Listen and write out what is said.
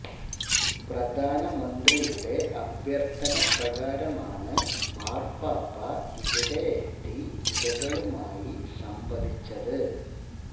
പ്രധാന മന്ത്രി യുടെ അഭ്യർത്ഥന പ്രകാര മാണ് മാര്പ്പാപ്പ ഇവിടെ എത്തി ഇര കളുമായി സംവദിച്ചത്